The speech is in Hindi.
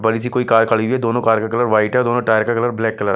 बड़ी सी कोई कार खड़ी हुई है दोनों कार का कलर व्हाइट है दोनों टायर का कलर ब्लैक कलर --